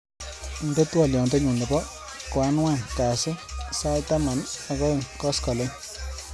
Indenee twoliotnyu nebo koanwan kasu sait taman ak aeng koskolin